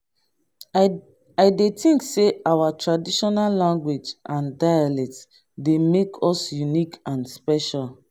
i dey think say our traditional language and dialect dey make us unique and special.